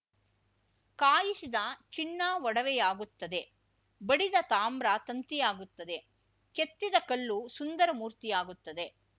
ಕಾಯಿಸಿದ ಚಿನ್ನ ಒಡವೆಯಾಗುತ್ತದೆ ಬಡಿದ ತಾಮ್ರ ತಂತಿಯಾಗುತ್ತದೆ ಕೆತ್ತಿದ ಕಲ್ಲು ಸುಂದರ ಮೂರ್ತಿಯಾಗುತ್ತದೆ